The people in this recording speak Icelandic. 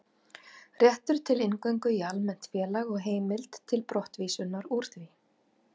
Réttur til inngöngu í almennt félag og heimild til brottvísunar úr því.